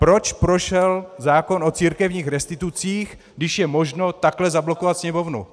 Proč prošel zákon o církevních restitucích, když je možno takto zablokovat Sněmovnu?